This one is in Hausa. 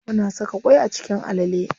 Muna saka ƙwai a cikin alale.